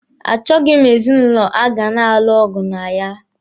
A chọghi m ezinụlọ a ga na-alụ ọgụ na ya.